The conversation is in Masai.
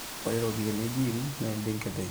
ore ropiyani naa ebenki epiki pooki e gym